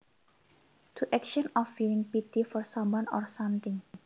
To action of feeling pity for someone or something